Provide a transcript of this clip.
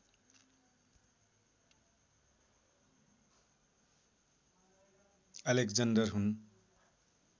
Alexander हुन्